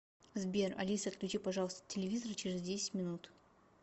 сбер алиса отключи пожалуйста телевизор через десять минут